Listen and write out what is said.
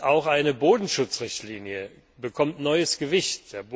Auch eine Bodenschutzrichtlinie bekommt ein neues Gewicht.